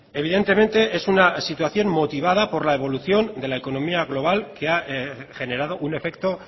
evidentemente es una situación motivada por la evolución de la economía global que ha generado un efecto